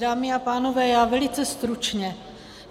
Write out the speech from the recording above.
Dámy a pánové, já velice stručně.